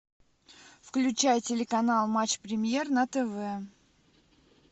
включай телеканал матч премьер на тв